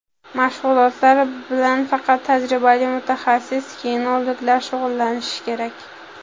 Mashg‘ulotlar bilan faqat tajribali mutaxassis-kinologlar shug‘ullanishi kerak.